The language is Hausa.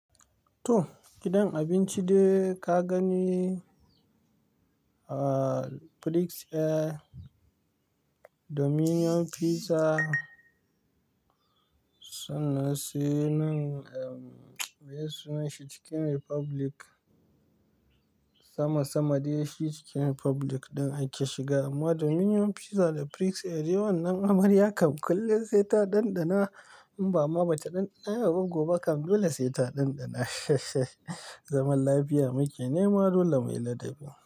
To gidan abinci da ka gani, Prix Air, Dominion Pizza suna saye nan, meye sunanshi? Chicken Republic. Sama sama dai shi Chicken Republic ɗin ake shiga amma Dominion Pizza da Prix Air yawannan amarya kam kulle sai ta ɗanɗana in ba ma bata ɗanɗana yau ba gobe kam dole sai ta ɗanɗana., zaman lafiya muke nema dole muyi ladabi.